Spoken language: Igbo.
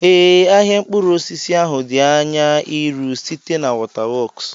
Ee, ahịa mkpụrụ osisi ahụ di anya iru, site na waterworks.